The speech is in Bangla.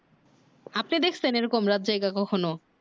আপনি দেখছেন এই রকম রাত জেগে কখনও